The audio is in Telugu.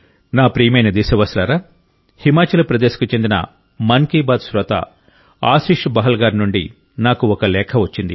నా ప్రియమైన దేశ వాసులారా హిమాచల్ ప్రదేశ్కు చెందిన మన్ కీ బాత్ శ్రోత ఆశిష్ బహల్ గారి నుండి నాకు ఒక లేఖ వచ్చింది